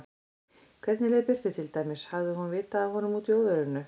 Hvernig leið Birtu til dæmis, hafði hún vitað af honum úti í óveðrinu?